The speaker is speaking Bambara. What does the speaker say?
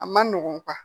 A ma nɔgɔn